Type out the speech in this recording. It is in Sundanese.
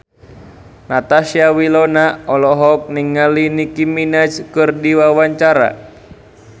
Natasha Wilona olohok ningali Nicky Minaj keur diwawancara